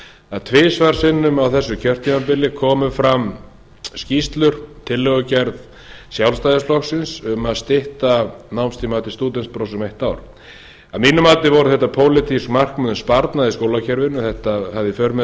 að tvisvar sinnum á þessu kjörtímabili komu fram skýrslur tillögugerð sjálfstæðisflokksins um að stytta námstíma til stúdentsprófs um eitt ár að mínu mati voru þetta pólitísk markmið um sparnað í skólakerfinu þetta hefði í för með